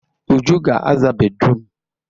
Uju ga-aza bédrụum.